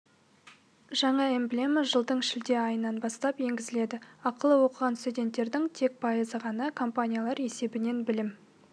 жаңа эмблема жылдың шілде айынан бастап енгізеледі ақылы оқыған студенттердің тек пайызы ғана компаниялар есебінен білім